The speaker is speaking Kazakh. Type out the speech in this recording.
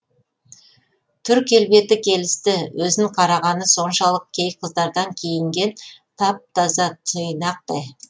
түр келбеті келісті өзін қарағаны соншалық кей қыздардан киінгені тап таза тұйнақтай